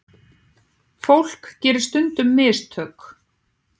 Fólk gerir stundum mistök.